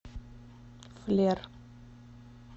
флер